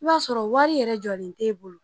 I b'a sɔrɔ wari yɛrɛ jɔlen tɛ e bolo